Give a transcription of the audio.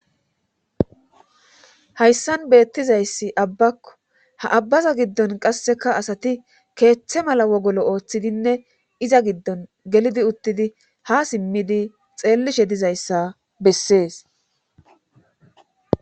Hayssan beettizayssi abbakko ha abbaza giddon qasseka asati keeththe mala wogolo ooththidinne iza giddon gelidi uttidi ha simmidi xeellishe dizayssa bessees.